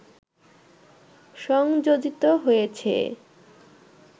সংযোজিত হয়েছে